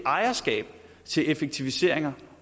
ejerskab til effektiviseringer